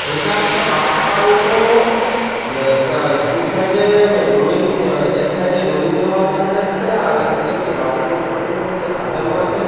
এটা একটা রাস্তার মতো আ- আ- দু সাইড এ রোলিং এক সাইড এ রোলিং দেওয়া দেখা যাচ্ছে আর একদিকে কি বালতি মালতি গুলো দিয়ে সাজানো আছে ।